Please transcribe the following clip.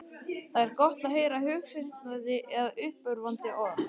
Það er gott að heyra hughreystandi eða uppörvandi orð.